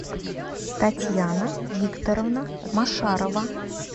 татьяна викторовна машарова